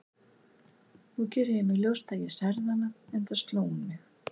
Nú geri ég mér ljóst að ég særði hana, enda sló hún mig.